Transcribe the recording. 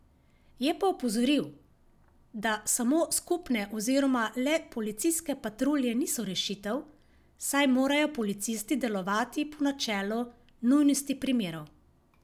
Je pa opozoril, da samo skupne oziroma le policijske patrulje niso rešitev, saj morajo policisti delovati po načelu nujnosti primerov.